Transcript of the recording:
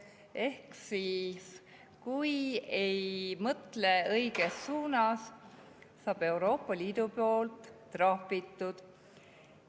Ehk siis, kui ei mõtle õiges suunas, saad Euroopa Liidu poolt trahvitud.